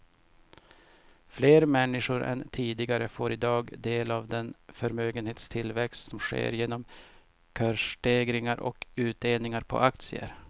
Fler människor än tidigare får i dag del av den förmögenhetstillväxt som sker genom kursstegringar och utdelningar på aktier.